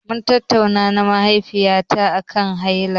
Mun tattauna na mahaifiyata aƙan haila.